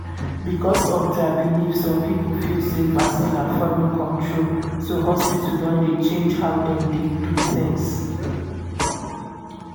because of their beliefs some people feel sey vaccine na foreign control so hospital don dey change how dem dey do things.